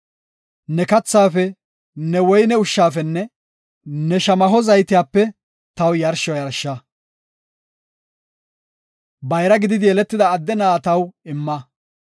Ne kathaafe, ne woyne ushshafenne ne shamaho zaytiyape taw yarsho yarsha. “Bayra gididi yeletida adde na7aa taw imma.